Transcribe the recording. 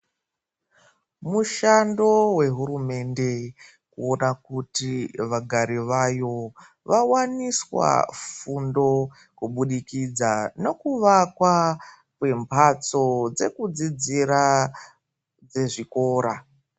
Mushando we hurumende kuona kuti vagari vayo vawaniswa fundo kubudikidza neku vakwa kwe mbatso dzeku dzidzira dze zvikora.